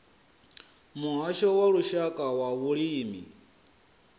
muhasho wa lushaka wa vhulimi